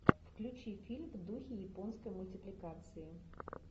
включи фильм в духе японской мультипликации